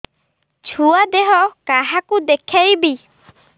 ଛୁଆ ଦେହ କାହାକୁ ଦେଖେଇବି